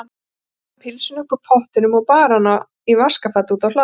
Þar færði hún pylsuna upp úr pottinum og bar hana í vaskafati út á hlað.